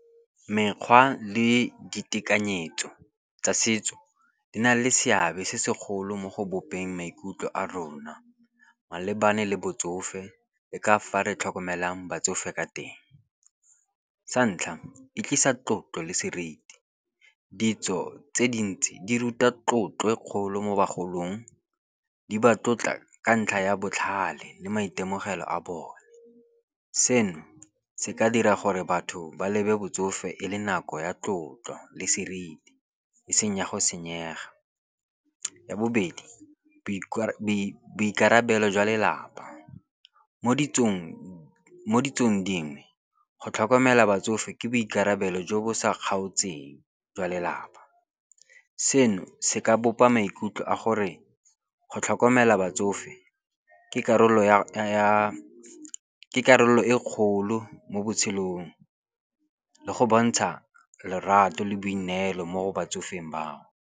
Mekgwa le ditekanyetso tsa setso di na le seabe se segolo mo go bopeng maikutlo a rona, malebana le botsofe e ka fa re tlhokomelang batsofe ka teng. Sa ntlha, e tlisa tlotlo le seriti. Ditso tse dintsi di ruta tlotlo e kgolo mo bagolong. Di ba tlotla ka ntlha ya botlhale le maitemogelo a bone. Seno se ka dira gore batho ba lebe botsofe e le nako ya tlotlo le seriti e seng ya go senyega. Ya bobedi, boikarabelo jwa lelapa, mo ditsong dingwe go tlhokomela batsofe ke boikarabelo jo bo sa kgaotseng jwa lelapa. Seno se ka bopa maikutlo a gore go tlhokomela batsofe ke karolo e kgolo mo botshelong le go bontsha lorato le boineelo mo batsofeng bao.